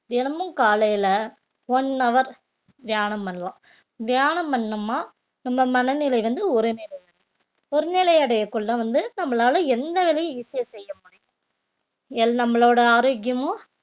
தினமும் காலையில one hour தியானம் பண்ணலாம் தியானம் பண்ணம்மா நம்ம மனநிலை வந்து ஒரு நிலை ஒருநிலை அடையக்குள்ள வந்து நம்மளால எந்த வேலையும் easy ஆ செய்ய முடியும் எல்~ நம்மளோட ஆரோக்கியமும்